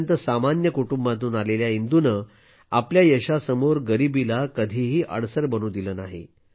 अत्यंत सामान्य कुटुंबातून आलेल्या इंदूने आपल्या यशासमोर गरिबीला कधीही अडसर बनू दिले नाही